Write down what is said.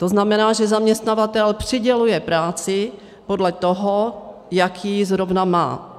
To znamená, že zaměstnavatel přiděluje práci podle toho, jak ji zrovna má.